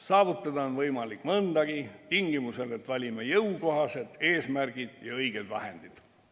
Saavutada on võimalik mõndagi, tingimusel, et valime jõukohased eesmärgid ja õiged vahendid.